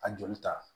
A joli ta